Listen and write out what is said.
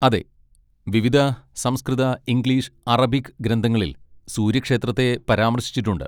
അതെ, വിവിധ സംസ്കൃത, ഇംഗ്ലീഷ്, അറബിക് ഗ്രന്ഥങ്ങളിൽ സൂര്യക്ഷേത്രത്തെ പരാമർശിച്ചിട്ടുണ്ട്.